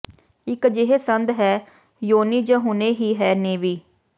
ਇਕ ਅਜਿਹੇ ਸੰਦ ਹੈ ਯੋਨੀ ਜ ਹੁਣੇ ਹੀ ਹੈ ਨੇਵੀ